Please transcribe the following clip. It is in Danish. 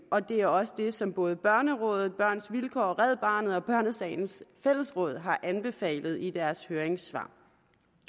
og det er også det som både børnerådet børns vilkår red barnet og børnesagens fællesråd har anbefalet i deres høringssvar